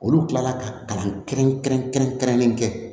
Olu kila la ka kalan kɛrɛnkɛrɛn kɛrɛn kɛrɛnlen kɛ